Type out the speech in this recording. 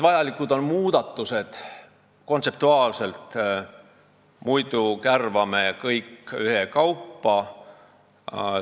Vajalikud on kontseptuaalsed muudatused, muidu kärvame kõik ühekaupa.